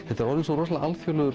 þetta er orðið svo alþjóðleg